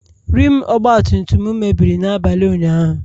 rim ọgbatumtum m mebiri n'abalị ụnyahụ